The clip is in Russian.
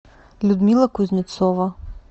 людмила кузнецова